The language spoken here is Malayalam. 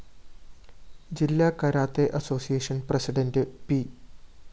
ജില്ലാ കരാട്ടെ അസോസിയേഷൻ പ്രസിഡന്റ് പി